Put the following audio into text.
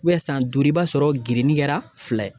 san duuru i b'a sɔrɔ gerenin kɛra fila ye.